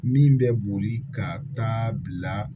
Min bɛ boli ka taa bila